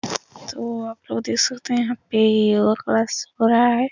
तो आप लोग देख सकत हैं यहाँ पे योगा क्लास हो रहा है।